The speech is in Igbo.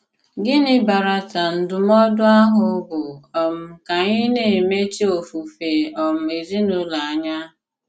Gịnị̀ bàràtà ndụm̀ọ̀dụ àhụ̀ bụ́ um kà ànyị̀ na-emechì òfùfè um èzìnùlò ànyà?